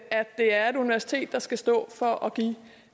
det er et universitet der skal stå for at give